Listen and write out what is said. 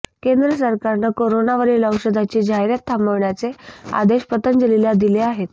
केंद्र सरकारनं करोनावरील औषधाची जाहिरात थांबवण्याचे आदेश पतंजलीला दिले आहेत